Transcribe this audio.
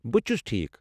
بہٕ تہِ چھُس ٹھیٖک۔